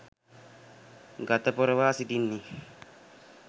ගත පොරවා සිටින්නේ